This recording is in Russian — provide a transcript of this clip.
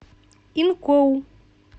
инкоу